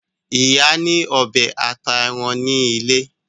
Ìyá ní ọbẹ ata èràn ní ilé.